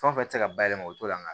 Fɛn o fɛn tɛ se ka bayɛlɛma u t'o la nga